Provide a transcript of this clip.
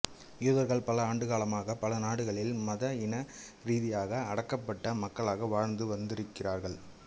யூதர்கள் பல ஆண்டுகாலமாக பல நாடுகளிலும் மத இன ரீதியாக அடக்கப்பட்ட மக்களாக வாழ்ந்து வந்திருக்கிறார்கள்